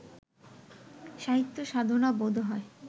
সাহিত্য সাধনা বোধ হয়